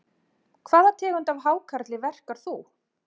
Hvaða tegund af hákarli verkar þú?